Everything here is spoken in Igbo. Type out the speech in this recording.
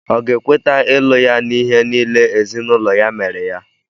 Ọ̀ ga-ekweta ịlụ ya n'ihe niile ezinụlọ ya mere ya?